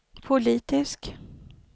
politisk